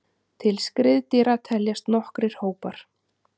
Til skriðdýra teljast nokkrir hópar.